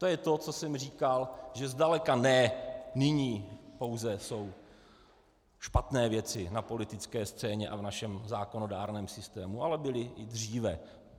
To je to, co jsem říkal, že zdaleka ne nyní pouze jsou špatné věci na politické scéně a v našem zákonodárném systému, ale byly i dříve.